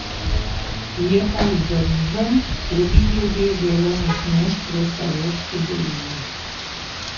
Je pa vzdržen tudi glede delovnih mest v Šaleški dolini.